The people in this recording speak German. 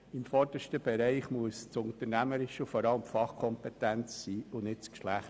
An erster Stelle muss das Unternehmerische stehen, vorab die Fachkompetenz und nicht das Geschlecht.